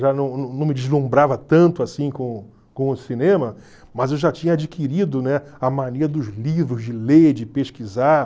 Já não não não me deslumbrava tanto assim com com o cinema, mas eu já tinha adquirido, né, a mania dos livros, de ler, de pesquisar.